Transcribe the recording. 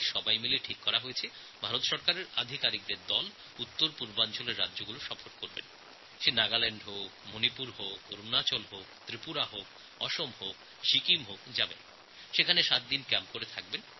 সবাই মিলে সিদ্ধান্ত নেয় যে ভারত সরকারের আধিকারিকদের একটি দল উত্তরপূর্ব ভারতের রাজ্যগুলিতে যেমন নাগাল্যাণ্ড মণিপুর অরুণাচল ত্রিপুর অসম সিকিম প্রভৃতি জায়গায় যাবেন এবং সাত দিন শিবির করে থাকবেন